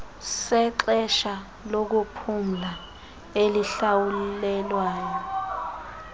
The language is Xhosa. sexesha lokuphumla elihlawulelwayo